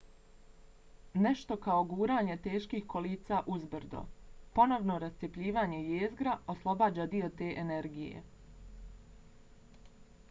nešto kao guranje teških kolica uzbrdo. ponovno rascjepljivanje jezgra oslobađa dio te energije